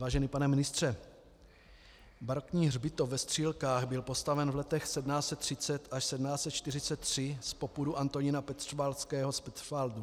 Vážený pane ministře, barokní hřbitov ve Střílkách byl postaven v letech 1730 až 1743 z popudu Antonína Petřvaldského z Petřvaldu.